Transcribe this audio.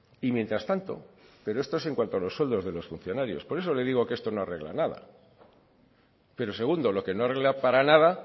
y mientras tanto pero esto es en cuanto a los sueldo de los funcionarios por eso le digo que esto no arregla nada pero segundo lo que no arregla para nada